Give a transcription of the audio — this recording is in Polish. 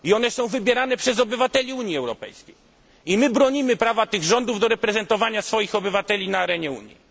są. Są wybierane przez obywateli Unii Europejskiej i my bronimy prawa tych rządów do reprezentowania swoich obywateli na arenie Unii.